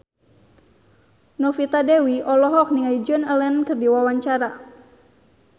Novita Dewi olohok ningali Joan Allen keur diwawancara